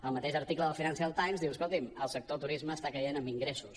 el mateix article del financial timescolti’m el sector turisme està caient en ingressos